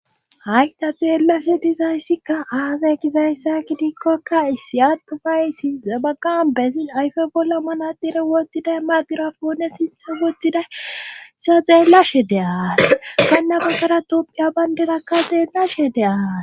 hayta xeellashe dizayssikka aage gizayssa kidikkokka issi attufay sinxa baqan bezin ayfe bolla manadire woxxiday magirafoone sintha woxxiday seya xeellashe de aas ganna baggara tomphiya bayndenakka teenna she de aas